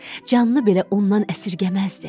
Canını belə ondan əsirgəməzdi.